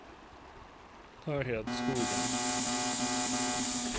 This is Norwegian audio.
Harriet Skogen